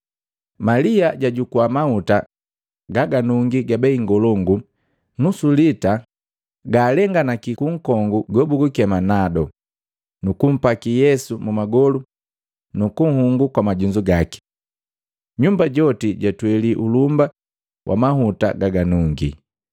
Malia jwajukua mahuta gaganungi ga bei ngolongu nusu lita galenganaki kunkongu gobugukema nado, nukumpaki Yesu mumagolu nukunhungu kwa majunzu gaki. Nyumba joti jatweli ulumba wa mahuta gaganungi.